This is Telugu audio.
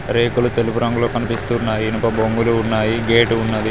రేకులు తెలుపు రంగులో కనిపిస్తూ ఉన్నవి ఇనప బొంగులు ఉన్నాయి గేటు ఉన్నది.